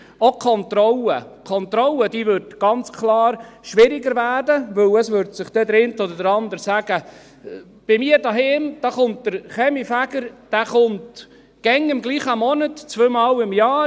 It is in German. Auch die Kontrolle würde ganz klar schwieriger werden, weil sich der eine oder andere sagt: «Bei mir zu Hause kommt der Kaminfeger immer im gleichen Monat zweimal im Jahr.